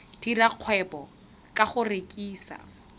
dira kgwebo ka go rekisa